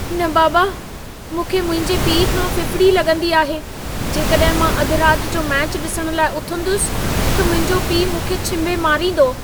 न बाबा, मूंखे मुंहिंजे पीउ खां फ़िफ़िड़ी लॻंदी आहे। जेकॾहिं मां अध रात जो मैचु ॾिसण लाइ उथंदुसि, त मुंहिंजो पीउ मूंखे छींभे मारींदो।